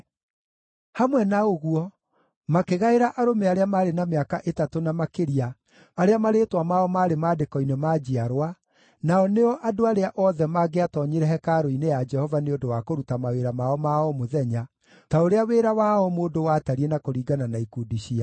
Hamwe na ũguo makĩgaĩra arũme arĩa maarĩ na mĩaka ĩtatũ na makĩria arĩa marĩĩtwa mao maarĩ maandĩko-inĩ ma njiarwa, nao nĩo andũ arĩa othe maangĩatoonyire hekarũ-nĩ ya Jehova nĩ ũndũ wa kũruta mawĩra mao ma o mũthenya, ta ũrĩa wĩra wa o mũndũ watariĩ na kũringana na ikundi ciao.